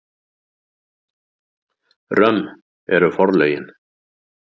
Römm eru forlögin.